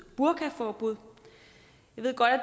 burkaforbud